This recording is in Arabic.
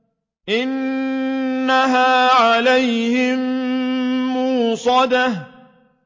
إِنَّهَا عَلَيْهِم مُّؤْصَدَةٌ